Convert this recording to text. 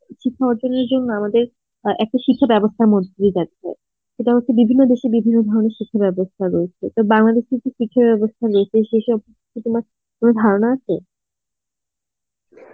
শিক্ষা অর্জনের জন্য আমাদের, একটা শিক্ষা বেবস্থার মধ্যে দিয়ে যেতে হয় এটা হচ্ছে বিভিন্ন দেশে বিভিন্ন ধরনের শিক্ষা ব্যবস্থা রয়েছে তো বাংলাদেশে কি শিক্ষা ব্যবস্থা latest এসব তোমার~ তোমার ধারণা আছে?